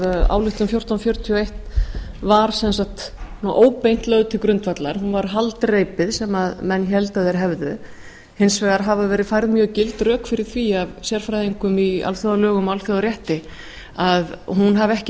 ályktun fjórtán hundruð fjörutíu og eitt var óbeint lögð til grundvallar hún var haldreipi sem menn héldu að þeir hefðu hins vegar hafa verið færð mjög gild rök fyrir því af sérfræðingum í alþjóðalögum og alþjóðarétti að hún hafi ekki